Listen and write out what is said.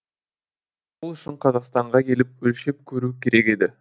ол үшін қазақстанға келіп өлшеп көру керек еді